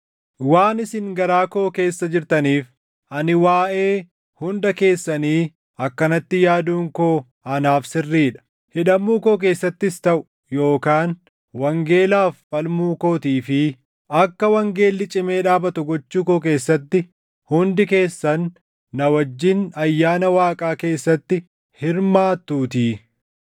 Waan isin garaa koo keessa jirtaniif ani waaʼee hunda keessanii akkanatti yaaduun koo anaaf sirrii dha; hidhamuu koo keessattis taʼu yookaan wangeelaaf falmuu kootii fi akka wangeelli cimee dhaabatu gochuu koo keessatti hundi keessan na wajjin ayyaana Waaqaa keessatti hirmaatuutii.